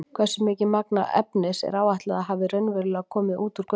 Hversu mikið magn efnis er áætlað að hafi raunverulega komið út úr göngunum?